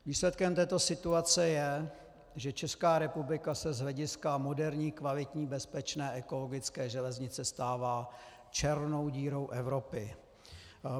Výsledkem této situace je, že Česká republika se z hlediska moderní, kvalitní, bezpečné, ekologické železnice stává černou dírou Evropy.